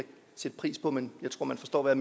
sætte pris på men jeg tror man forstår hvad